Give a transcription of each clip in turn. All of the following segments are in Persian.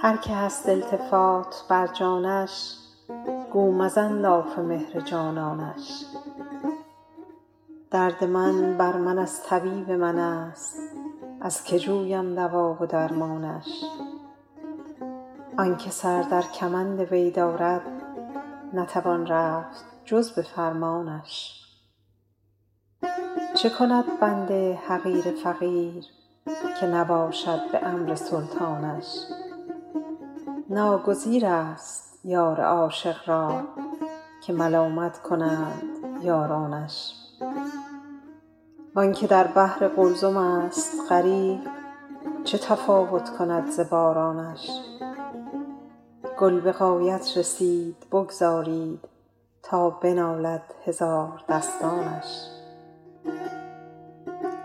هر که هست التفات بر جانش گو مزن لاف مهر جانانش درد من بر من از طبیب من است از که جویم دوا و درمانش آن که سر در کمند وی دارد نتوان رفت جز به فرمانش چه کند بنده حقیر فقیر که نباشد به امر سلطانش ناگزیر است یار عاشق را که ملامت کنند یارانش وآن که در بحر قلزم است غریق چه تفاوت کند ز بارانش گل به غایت رسید بگذارید تا بنالد هزاردستانش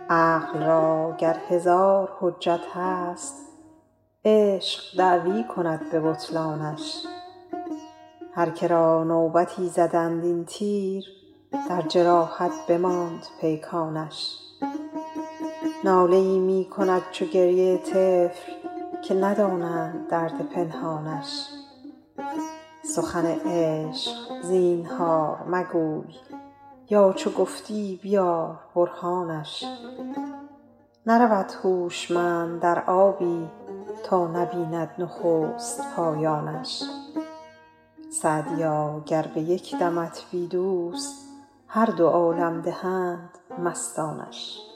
عقل را گر هزار حجت هست عشق دعوی کند به بطلانش هر که را نوبتی زدند این تیر در جراحت بماند پیکانش ناله ای می کند چو گریه طفل که ندانند درد پنهانش سخن عشق زینهار مگوی یا چو گفتی بیار برهانش نرود هوشمند در آبی تا نبیند نخست پایانش سعدیا گر به یک دمت بی دوست هر دو عالم دهند مستانش